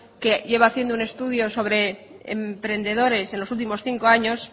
que lleva haciendo un estudio sobre emprendedores en los últimos cinco años